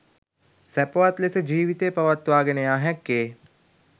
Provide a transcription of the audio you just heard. සැපවත් ලෙස ජීවිතය පවත්වාගෙන යා හැක්කේ